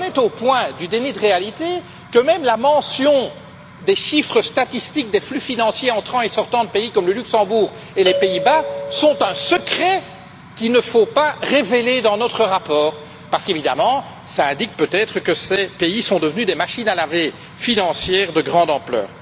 On en est au point du déni de réalité où même les statistiques concernant les flux financiers entrants et sortants de pays comme le Luxembourg et les Pays Bas sont un secret qu'il ne faut pas révéler dans notre rapport, parce qu'évidemment cela indique, peut-être, que ces pays sont devenus des machines à laver financières de grande ampleur.